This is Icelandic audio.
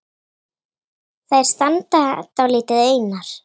Þær standa dálítið einar.